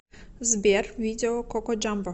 сбер видео коко джамбо